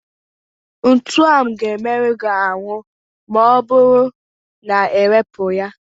Ntu ahụ ga-emerụ ya ahụ maọbụrụ na ewepụghị ya.